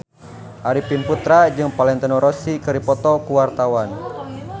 Arifin Putra jeung Valentino Rossi keur dipoto ku wartawan